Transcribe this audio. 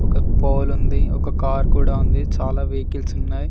ఒక పోల్ ఉంది ఒక కార్ కూడా ఉంది చాలా వెహికల్స్ ఉన్నాయి.